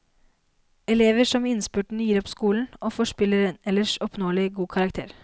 Elever som i innspurten gir opp skolen og forspiller en ellers oppnåelig god karakter.